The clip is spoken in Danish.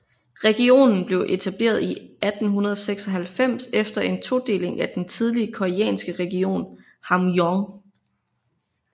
Regionen blev etableret i 1896 efter en todeling af den tidligere koreanske region Hamgyong